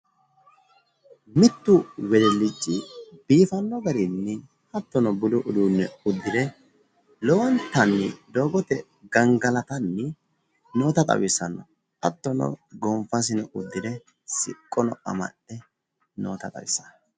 mittu wedellichi biifanno garinni hattono budu udiinne uddire lowontani doogote gangalatanni noota tawisanno ,hattono gonfasino uddire siqqosino amaxxe noota tawissanno.